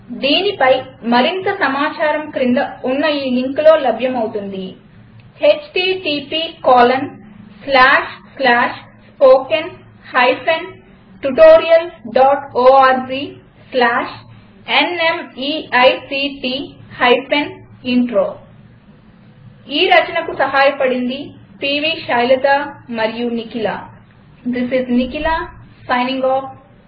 దీనిపై మరింత సమాచారం క్రింద ఉన్న లింక్లో లభ్యమవుతుంది httpspoken tutorialorgNMEICT Intro ఈ రచనకు సహాయపడింది పివిశైలజ అనువాదం చేసినవారి పేరు మరియు రికార్డ్ చేసినవారి పేరు ప్రదేశం పేరు నుండి